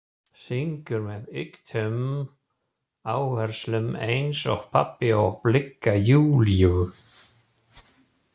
Syngur með ýktum áherslum eins og pabbi og blikkar Júlíu.